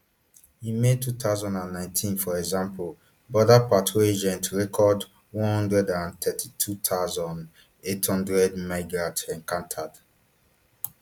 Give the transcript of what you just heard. in may two thousand and nineteen for example border patrol agents record one hundred and thirty-two thousand, eight hundred migrant encounters